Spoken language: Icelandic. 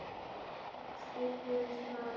Skraut skiptir víst máli!